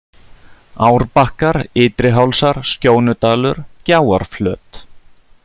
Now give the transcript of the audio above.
Árbakkar, Ytri-Hálsar, Skjónudalur, Gjáarflöt